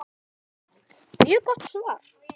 Hansa: Mjög gott svar.